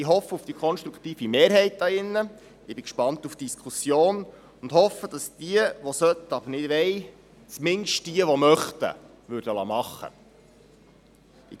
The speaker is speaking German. Ich hoffe auf die konstruktive Mehrheit hier im Grossen Rat, bin gespannt auf die Diskussion und hoffe, dass diejenigen, die sollten, aber nicht wollen, zumindest diejenigen, die möchten, etwas machen werden.